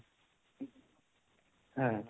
হ্যাঁ